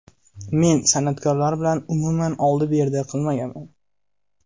Men san’atkorlar bilan umuman oldi-berdi qilmaganman.